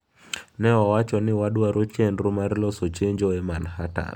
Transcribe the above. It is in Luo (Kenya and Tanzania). Ne owacho ni wadwaro chenro mar loso chenjo e Manhattan.